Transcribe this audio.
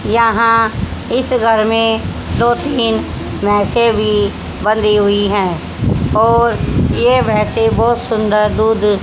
यहां इस घर में दो तीन भैसे भी बंधी हुई है और ये भैसे बहोत सुंदर दूध--